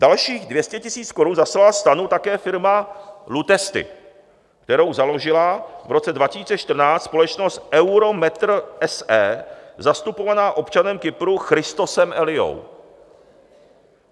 Dalších 200 000 korun zaslala STANu také firma LUTESTI, kterou založila v roce 2014 společnost EUROMATER, SE zastupovaná občanem Kypru Christosem Eliou.